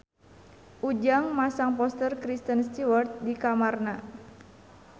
Ujang masang poster Kristen Stewart di kamarna